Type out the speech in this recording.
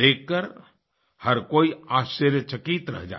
देखकर हर कोई आश्चर्यचकित रह जाता है